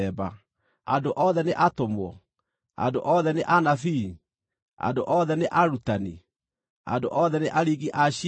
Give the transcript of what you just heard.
Andũ othe nĩ atũmwo? Andũ othe nĩ anabii? Andũ othe nĩ arutani? Andũ othe nĩ aringi a ciama?